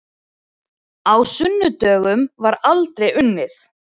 Á sunnudögum var aldrei unnið.